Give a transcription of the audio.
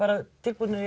tilbúnir